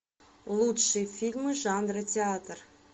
лучшие фильмы жанра театр